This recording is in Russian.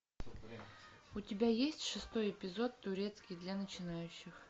у тебя есть шестой эпизод турецкий для начинающих